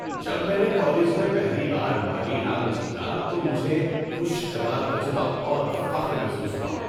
جب میں نے کالج میں پہلی بار مالی انعام جیتا تو مجھے خوشگوار تجربہ اور فخر محسوس ہوا۔